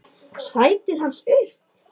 Sætið hans autt.